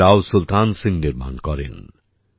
এটি রাও সুলতান সিং নির্মাণ করেন